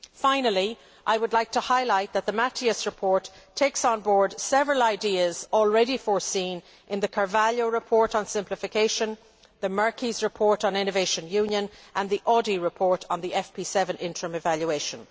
Finally, I would like to highlight that the Matias report takes on board several ideas already foreseen in the Carvalho report on simplification, the Merkies report on Innovation Union, and the Audy report on the FP7 Interim Evaluation.